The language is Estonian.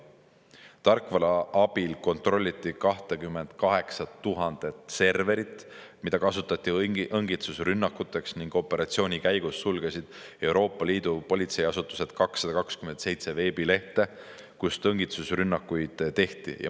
Tarkvara abil kontrolliti 28 000 serverit, mida kasutati õngitsusrünnakuteks, ning operatsiooni käigus sulgesid Euroopa Liidu politseiasutused 227 veebilehte, kust õngitsusrünnakuid tehti.